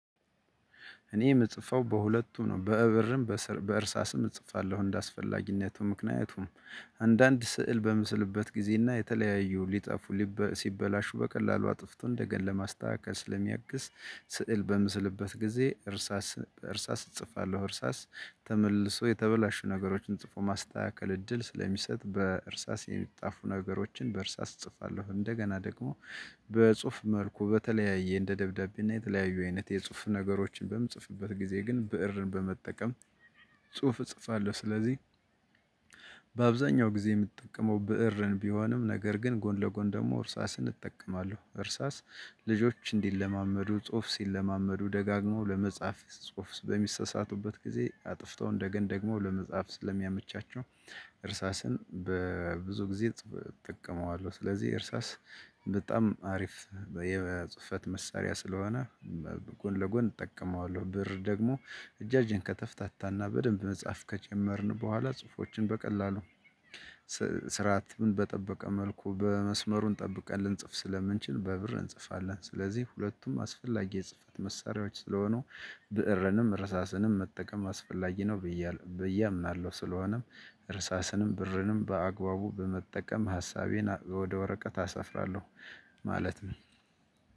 እኔ ምጽፈው በሁለቱም ነው በብእርም በእርሳስም እጽፋለሁ እንደአስፈላጊነቱ ምክንያቱም አንዳንድ ስዕል በምስልበት ጊዜና የተለያዩ ሲበላሹ በቀላሉ አጥፍተን እንደገና ለማስተካከል ስለሚያግዝ ስዕል በምስልበት ጊዜ በእርሳስ እጽፋለሁ እርሳስ ተመልሶ የተበላሹ ነገሮችን ጽፎ የማስተካከል እድል ስለሚሰጥ በእርሳስ የሚጻፉ ነገሮችን በእርሳስ እጽፋለሁ። እንደገና ደግሞ በጽሁፍ መልኩ በተለያየ እንደ ደብዳቤ እና የተለያዩ አይነት የጽሁፍ ነገሮችን በምጽፍበት ጊዜ ግን ብእርን በመጠቀም ጽሁፍ እጽፋለሁ። ስለዚህ በአብዛኛው ጊዜ የምትጠቀመው ብእርን ቢሆንም ነገር ግን ጎን ለጎን ደግሞ እርሳስን እጠቀማለሁ። እርሳስ ልጆች እንዲለማመዱ ጽሁፍ ሲለማመዱ ደጋግመው ለመጻፍ ጽሁፍ በሚሳሳቱበት ጊዜ አጥፍተው እንደገና ደግሞ ለመጻፍ ስለሚያመቻቸው እርሳስን ብዙ ጊዜ እጠቀመዋለሁ። ስለዚህ እርሳስ በጣም አሪፍ የጽህፈት መሳሪያ ስለሆነ ጎን ለጎን እጠቀመዋለሁ። ብእር ደግሞ እጃችን ከተፍታታና በደንብ መጻፍ ከጀመርን በኋላ ጹሁፎችን በቀላሉ ስርዓትን በጠበቀ መልኩ መስመሩን ጠብቀን ልንጽፍ ስለምንችል በብእር እንጽፋለን። ስለዚህ ሁለቱም አስፈላጊ የጽህፈት መሳሪያዎች ስለሆኑ ብዕርንም እርሳስንም መጠቀም አስፈላጊ ነው ብዬ አምናለሁ። ስለሆነም እርሳስንም ብዕርንም በአግባቡ በመጠቀም ሀሳቤን ወደ ወረቀት አሰፍራለሁ ማለት ነው።